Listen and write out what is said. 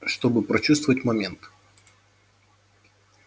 чтобы прочувствовать момент